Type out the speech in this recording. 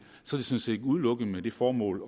sådan set udelukkende med det formål